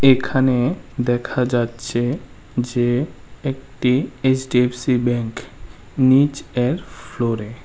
এখানে দেখা যাচ্ছে যে একটি এইচ_ডি_এফ_সি ব্যাঙ্ক নিচ এর ফ্লোরে ।